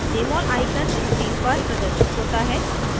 jmol icon screen पर प्रदर्शित होता है